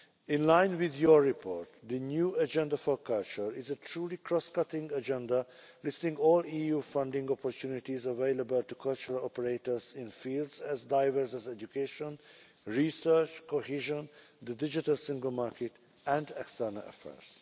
In line with your report, the new Agenda for Culture is a truly cross cutting agenda, listing all EU funding opportunities available to cultural operators in fields as diverse as education, research, cohesion, the digital single market and external affairs.